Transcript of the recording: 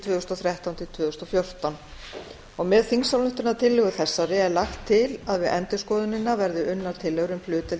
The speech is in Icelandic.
tvö þúsund og þrettán til tvö þúsund og fjórtán með þingsályktunartillögunni er lagt til að við endurskoðunina verði unnar tillögur um hlutdeild